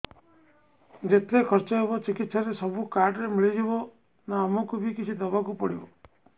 ଯେତେ ଖର୍ଚ ହେବ ଚିକିତ୍ସା ରେ ସବୁ କାର୍ଡ ରେ ମିଳିଯିବ ନା ଆମକୁ ବି କିଛି ଦବାକୁ ପଡିବ